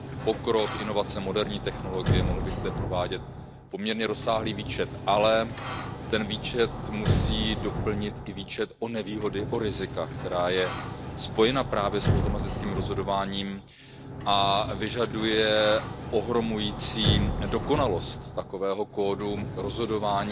Pokrok, inovace, moderní technologie, mohl bych zde provádět poměrně rozsáhlý výčet, ale ten výčet musím doplnit i o výčet nevýhod, rizik, které jsou spojeny právě s automatickým rozhodováním, které vyžaduje ohromující dokonalost takového kódu rozhodování